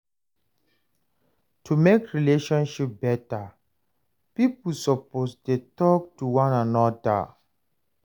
To mek relationship beta, pipo supposed dey talk to one anoda,